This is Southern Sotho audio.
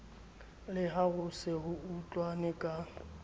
la ho se utlwane ka